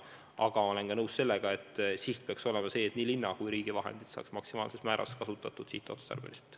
Aga ma olen ka nõus sellega, et siht peaks olema see, et nii linna kui ka riigi vahendid saaksid maksimaalses määras kasutatud sihtotstarbeliselt.